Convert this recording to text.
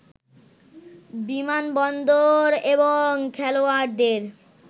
বিমানবন্দর এবং খেলোয়াড়দের